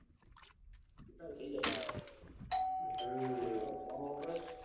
એતો હવે થઇ જાય હમ મારો phone વાપરેસ.